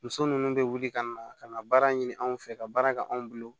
Muso ninnu bɛ wuli ka na ka na baara ɲini anw fɛ ka baara kɛ anw bolo